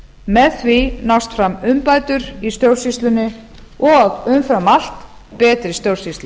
með því nást fram umbætur í stjórnsýslunni og umfram allt betri stjórnsýsla